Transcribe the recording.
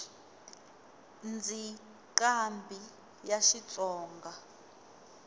ndzi nqambhi ya xitsonga